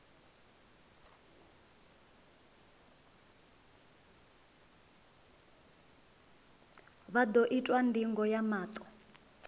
vha ḓo itwa ndingo ya maṱo